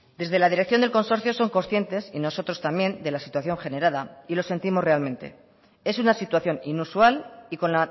desde la dirección del consorcio son conscientes y nosotros también de la situación generada y lo sentimos realmente es una situación inusual y con